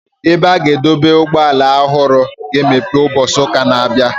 Ebe a na-adọba ụgbọala ọhụrụ a ga-emeghe ụbọchị ụka na-abịa.